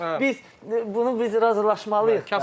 Bunu biz, bunu biz razılaşmalıyıq da.